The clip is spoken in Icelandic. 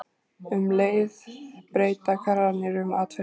Um leið breyta karrarnir um atferli.